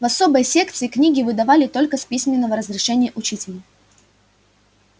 в особой секции книги выдавали только с письменного разрешения учителя